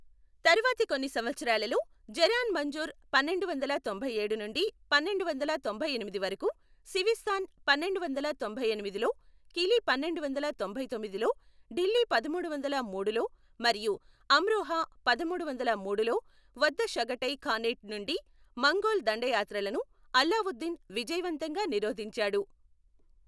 తరువాతి కొన్ని సంవత్సరాలలో, జరాన్ మంజుర్ పన్నెండువందల తొంభైయేడు నుండి పన్నెండువందల తొంభైఎనిమిది వరకు, సివిస్తాన్ పన్నెండువందల తొంభైఎనిమిదిలో , కిలీ పన్నెండువందల తొంభైతొమ్మిదిలో, ఢిల్లీ పదమూడువందల మూడులో మరియు అమ్రోహా పదమూడువందల మూడులో, వద్ద షాగటై ఖానేట్ నుండి మంగోల్ దండయాత్రలను అలావుద్దీన్ విజయవంతంగా నిరోధించాడు.